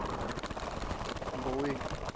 mboweni